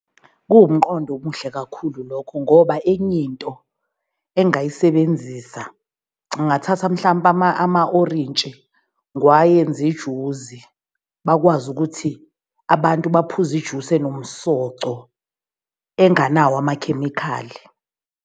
Kuwumqondo omuhle kakhulu lokho ngoba enye into engingayisebenzisa ngingathatha mhlampe ama-orintshi, ngwayenze ijuzi. Bakwazi ukuthi abantu baphuze ijusi enomsoco enganawo amakhemikhali.